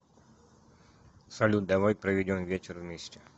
салют давай проведем вечер вместе